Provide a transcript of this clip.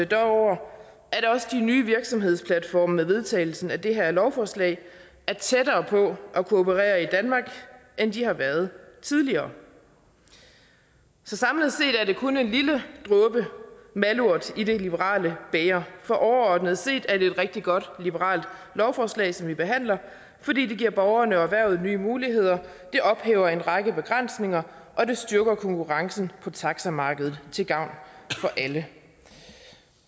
dog over at også de nye virksomhedsplatforme med vedtagelsen af det her lovforslag er tættere på at kunne operere i danmark end de har været tidligere så samlet set er der kun en lille dråbe malurt i det liberale bæger for overordnet set er det et rigtig godt liberalt lovforslag som vi behandler fordi det giver borgerne og erhvervet nye muligheder det ophæver en række begrænsninger og det styrker konkurrencen på taxamarkedet til gavn for alle